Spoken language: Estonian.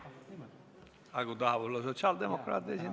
Kas kõneleja tahab sotsiaaldemokraate esindada?